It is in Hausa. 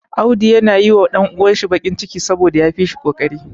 Auda yana yi wa ɗan uwansa baƙin ciki, saboda ya fi shi ƙoƙari.